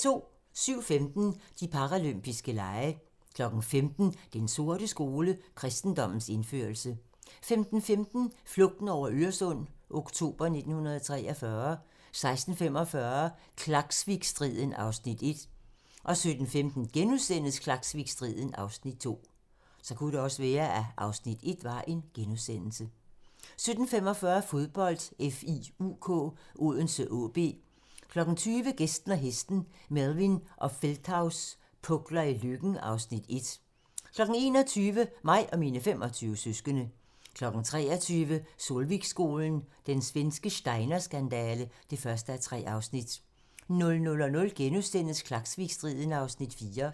07:15: De paralympiske lege 15:00: Den sorte skole: Kristendommens indførelse 15:15: Flugten over Øresund - oktober 1943 16:45: Klaksvikstriden (Afs. 1) 17:15: Klaksvikstriden (Afs. 2)* 17:45: Fodbold: FIUK Odense-AaB 20:00: Gæsten og hesten - Melvin og Feldthaus pukler i Løkken (Afs. 1) 21:00: Mig og mine 25 søskende 23:00: Solvikskolen - Den svenske Steiner-skandale (1:3) 00:00: Klaksvikstriden (Afs. 4)*